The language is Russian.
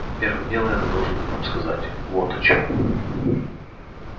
первым делом я должен вам сказать вот о чем